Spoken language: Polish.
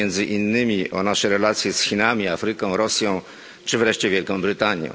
Chodzi między innymi o nasze relacje z Chinami, Afryką, Rosją, czy wreszcie Wielką Brytanią.